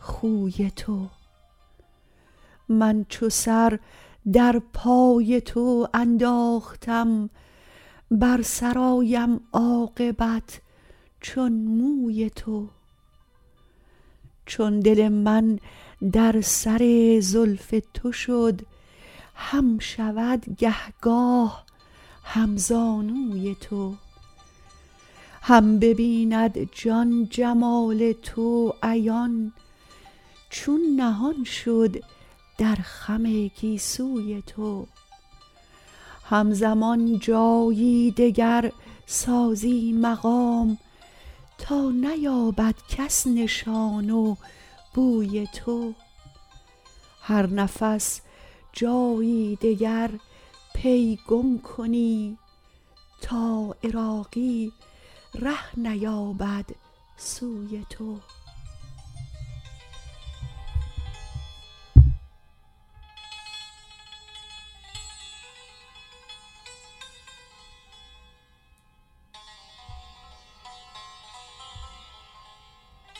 خوی تو من چو سر در پای تو انداختم بر سر آیم عاقبت چون موی تو چون دل من در سر زلف تو شد هم شود گه گاه همزانوی تو هم ببیند جان جمال تو عیان چون نهان شد در خم گیسوی تو هم زمان جایی دگر سازی مقام تا نیابد کس نشان و بوی تو هر نفس جایی دگر پی گم کنی تا عراقی ره نیابد سوی تو